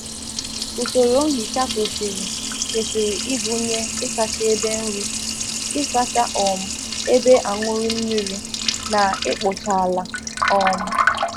Usoro nhicha kwesịrị ịgụnye ịsa ite nri, ite nri, ịsa ite mmiri, na ikpochasị ala